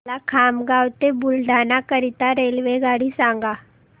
मला खामगाव ते बुलढाणा करीता रेल्वेगाडी सांगा